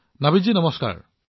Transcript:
নাভিদজী নমস্কাৰ